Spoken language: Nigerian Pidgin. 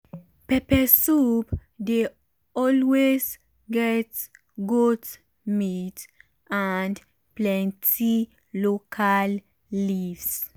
pepper soup dey always get goat meat and plenty local leaves.